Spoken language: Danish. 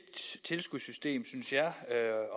tilskudssystem synes jeg